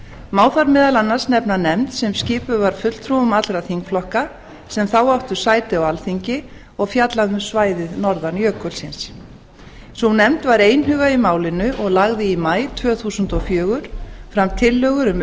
má þar meðal annars nefna nefnd sem skipuð var fulltrúum allra þingflokka sem þá áttu sæti á alþingi og fjallaði um svæðið norðan jökulsins sú nefnd var einhuga í málinu og lagði í maí tvö þúsund og fjögur fram tillögur um